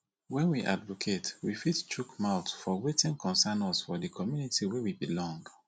when we advocate we fot chook mouth for wetin concern us for di community wey we belong